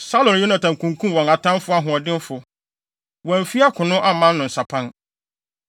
“Saulo ne Yonatan kunkum wɔn atamfo ahoɔdenfo! Wɔamfi akono amma no nsapan.